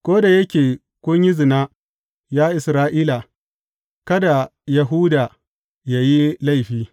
Ko da yake kun yi zina, ya Isra’ila, kada Yahuda ya yi laifi.